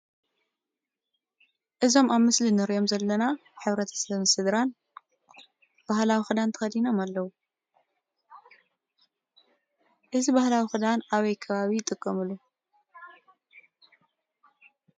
እዞም ኣብ ምስሊ ንሪኦ ዘለና ሕብረተሰብን ስድራን ባህላዊ ክዳን ተኸዲኖም ኣለዉ፡፡ እዚ ባህላዊ ክዳን ኣበይ ከባቢ ይጥቀሙሉ?